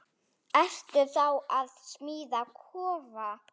Ertu að smíða kofa?